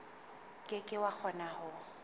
ke ke wa kgona ho